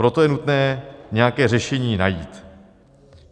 Proto je nutné nějaké řešení najít.